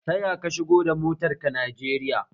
Taya ka shigo da motar ka Najeriya?